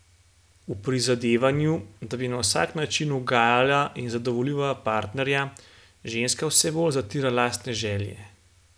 V prizadevanju, da bi na vsak način ugajala in zadovoljila partnerja, ženska vse bolj zatira lastne želje.